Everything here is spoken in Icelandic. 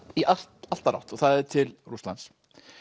í allt allt aðra átt og það er til Rússlands